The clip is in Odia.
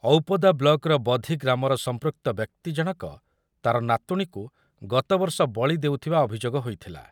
ଔପଦା ବ୍ଲକ୍ର ବଧି ଗ୍ରାମର ସମ୍ପୃକ୍ତ ବ୍ୟକ୍ତି ଜଣକ ତାର ନାତୁଣୀକୁ ଗତବର୍ଷ ବଳୀ ଦେଉଥିବା ଅଭିଯୋଗ ହୋଇଥିଲା ।